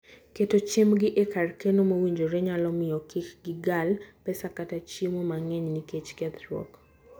Keto chiembgi e kar keno mowinjore nyalo miyo kik gilal pesa kata chiemo mang'eny nikech kethruok.